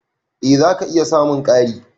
Eh zaka iya samun ƙari.